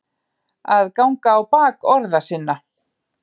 Að ganga á bak orða sinna